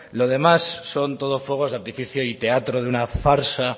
lo demás son todo fuegos de artificio y teatro de una farsa